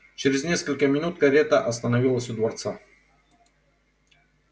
чрез несколько минут карета остановилась у дворца